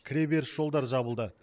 кіреберіс жолдар жабылды